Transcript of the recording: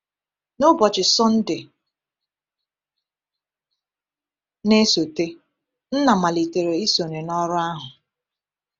N’ụbọchị Sọnde na-esote, Nna malitere isonye n’ọrụ ahụ.